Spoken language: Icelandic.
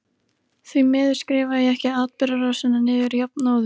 Því miður skrifaði ég ekki atburðarásina niður jafnóðum.